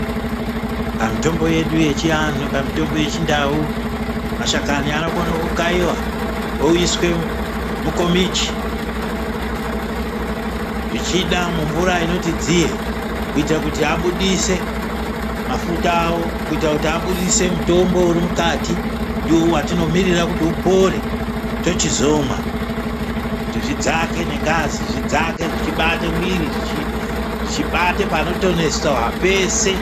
Pamitombo yedu yechianhu, pamitombo yechindau mashakani anokone kukaiwa oiswe mukomichi zvichida mumvura inoti dziye kuita kuti abudise mafuta awo, kuita kuti abudise mutombo urimukati ndiwo watinomirira kuti upore tochizomwa kuti zvidzake nengazi zvidzake zvichibate mwiri zvichibate panotonesa peshe.